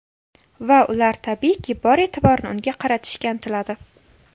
Va ular tabiiyki, bor e’tiborni unga qaratishga intiladi.